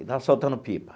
E estava soltando pipa.